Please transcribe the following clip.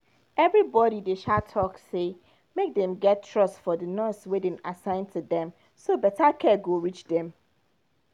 everybody dey um talk say make dem get trust for the nurse wey dem assign to dem so better care go reach dem